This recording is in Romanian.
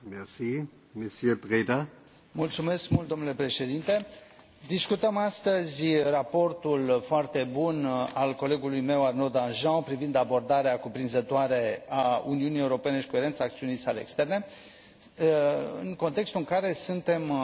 Domnule președinte, discutăm astăzi raportul foarte bun al colegului meu, Arnaud Danjean, privind abordarea cuprinzătoare a Uniunii Europene și coerența acțiunii sale externe, în contextul în care suntem aproape de sfârșitul mandatului actual și